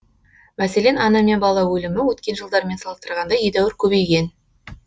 мәселен ана мен бала өлімі өткен жылдармен салыстырғанда едәуір көбейген